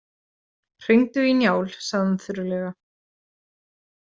Hringdu í Njál, sagði hann þurrlega.